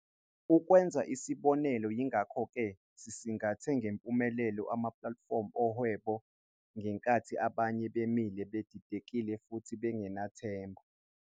Ukwenza isibonelo yingakho ke, sisingathe ngempumelelo amaplatifomu owhebo ngenkathi abanye bemile bedidekile futhi bengenathemba.